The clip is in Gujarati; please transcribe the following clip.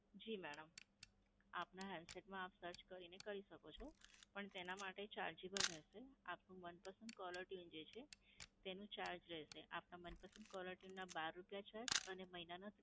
જી madam. આપના handset માં આપ search કરીને શકો છો. પણ તેના માટે chargeable રહેશે. આપનું મનપસંદ caller tune જે છે, તેનું charge રહેશે. આપના મનપસંદ caller tune બાર રૂપયા છે અને મહિના ના